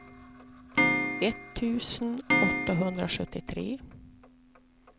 etttusen åttahundrasjuttiotre